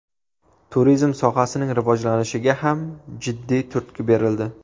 Turizm sohasining rivojlanishiga ham jiddiy turtki berildi.